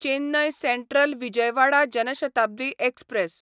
Chennai central Vijayawada Jan Shatabdi express